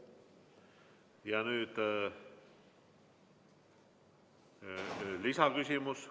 Nüüd lisaküsimus.